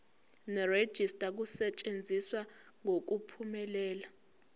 nerejista kusetshenziswe ngokuphumelela